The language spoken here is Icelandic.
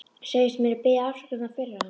Segist munu biðjast afsökunar fyrir hann.